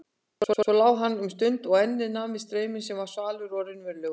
Svo lá hann um stund og ennið nam við strauminn sem var svalur og raunverulegur.